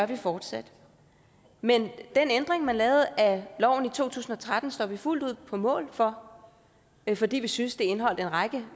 vi fortsat men den ændring man lavede af loven i to tusind og tretten står vi fuldt ud på mål for fordi vi synes den indeholdt en række